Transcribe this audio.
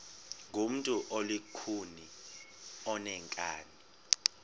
ngumntu olukhuni oneenkani